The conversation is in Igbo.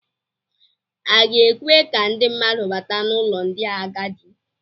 A ga-ekwe ka ndị mmadụ bata n'ụlọ ndị agadi.